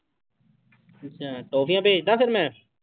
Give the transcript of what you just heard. ਅੱਛਾ ਟੋਫ਼ੀਆਂ ਭੇਜ ਦੇਵਾਂ ਫਿਰ ਮੈਂ।